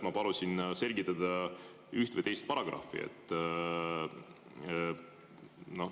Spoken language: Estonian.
Ma palusin selgitada üht või teist paragrahvi.